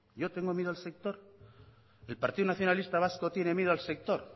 yo tengo miedo al sector el partido nacionalista vasco tiene miedo al sector